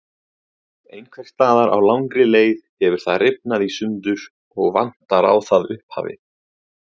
Einhvers staðar á langri leið hefur það rifnað í sundur og vantar á það upphafið.